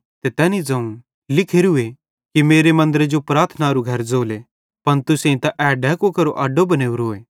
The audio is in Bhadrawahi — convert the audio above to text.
ते तैनी ज़ोवं लिखोरूए कि मेरे मन्दरे जो प्रार्थना केरनेरू घर ज़ोले पन तुसेईं त ए डैकू केरो अड्डो बनेवरोए